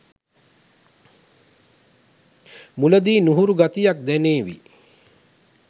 මුලදී නුහුරු ගතියක් දැනේවි.